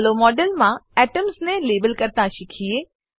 ચાલો મોડેલમાં એટમ્સ ને લેબલ કરતા શીખીએ